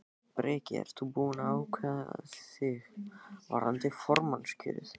Breki: Ert þú búinn að ákveða þig varðandi formannskjörið?